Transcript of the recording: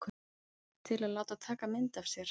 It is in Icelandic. Til að láta taka mynd af sér?